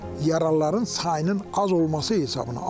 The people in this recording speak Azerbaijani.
Yaralıların sayının az olması hesabına.